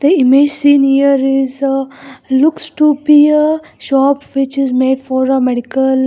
Image seen here is a looks to be a shop which is made for a medical --